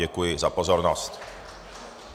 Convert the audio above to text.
Děkuji za pozornost.